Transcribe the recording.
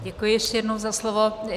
Děkuji ještě jednou za slovo.